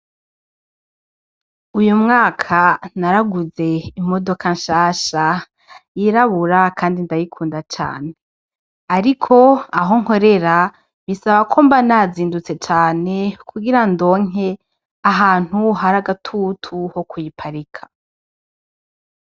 Uyu mwaka naraguze imodoka nshasha yirabura, kandi ndabikunda cane, ariko aho nkorera bisaba ko mba nazindutse cane kugira ndonke ahantu hari agatutu ho kuyiparika.